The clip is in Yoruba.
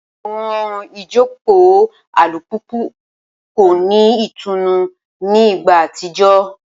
Awọn ijoko alupupu ko ni itunu ni igba atijọ